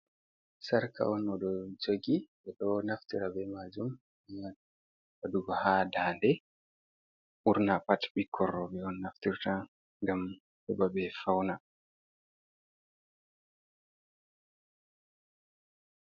Sarka on oɗo joggi ɓe ɗo naftira be majum wɗugo haa ndande, ɓurna pat ɓikkor roɓe on naftirta ngam heɓa ɓe fauna.